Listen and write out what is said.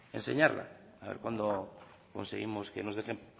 enseñarla haber cuando conseguimos que nos dejen